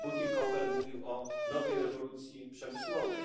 Pan Bütikofer mówił o nowej rewolucji przemysłowej